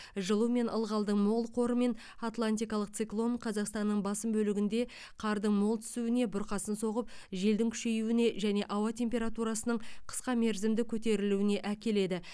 жылу мен ылғалдың мол қоры мен атлантикалық циклон қазақстанның басым бөлігінде қардың мол түсуіне бұрқасын соғып желдің күшеюіне және ауа температурасының қысқа мерзімді көтерілуіне әкеледі